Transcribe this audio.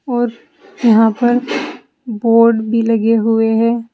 और यहां पर बोर्ड भी लगे हुए हैं।